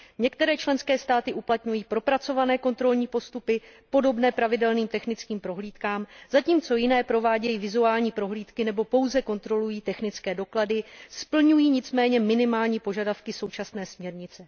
Některé členské státy uplatňují propracované kontrolní postupy podobné pravidelným technickým prohlídkám, zatímco jiné provádějí vizuální prohlídky, nebo pouze kontrolují technické doklady, splňují nicméně minimální požadavky současné směrnice.